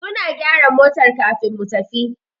Suna gyara motar kafin mu tafi.